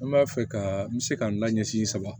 N b'a fɛ ka n bɛ se ka n la ɲɛsin saba